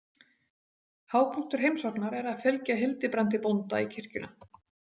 Hápunktur heimsóknar er að fylgja Hildibrandi bónda í kirkjuna.